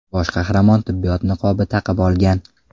Bosh qahramon tibbiyot niqobi taqib olgan.